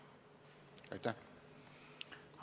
Aitäh!